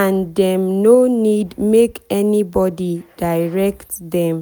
and dem no need make anybody direct dem.